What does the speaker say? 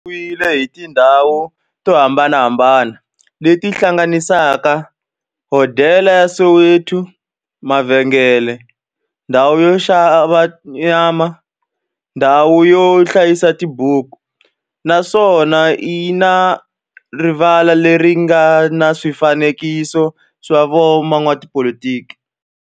xi rhendzeriwile hi tindhawu to hambanahambana le ti hlanganisaka, hodela ya Soweto-mavhengele-ndhawu yo oxa nyama-ndhawu yo hlayisa tibuku, naswona yi na rivala le ri nga na swifanekiso swa vo n'watipolitiki.